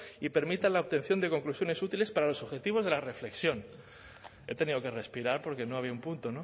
y permitan la obtención de conclusiones útiles para los objetivos de la reflexión he tenido que respirar porque no había un punto